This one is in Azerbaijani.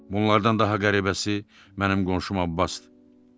Bunlardan daha qəribəsi mənim qonşum Abbasdır.